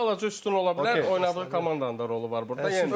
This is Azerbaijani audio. Bir balaca üstün ola bilər, oynadığı komandanın da rolu var burda.